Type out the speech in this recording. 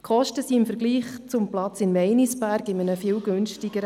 Das Kosten-Nutzen-Verhältnis ist im Vergleich zum Platz in Meinisberg viel günstiger.